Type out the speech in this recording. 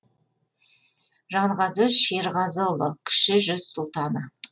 жанғазы шерғазыұлы кіші жүз сұлтаны